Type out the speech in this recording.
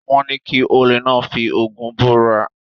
Wọ́n ní kí olè náà fi Ògún búra?